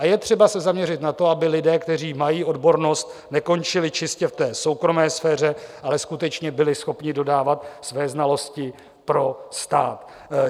A je třeba se zaměřit na to, aby lidé, kteří mají odbornost, nekončili čistě v té soukromé sféře, ale skutečně byli schopni dodávat své znalosti pro stát.